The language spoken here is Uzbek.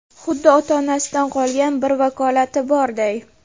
Xuddi ota-onasidan qolgan bir vakolati borday.